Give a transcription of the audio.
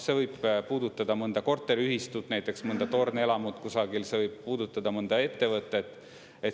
See võib puudutada mõnda korteriühistut, näiteks mõnda tornelamut kusagil, see võib puudutada mõnda ettevõtet.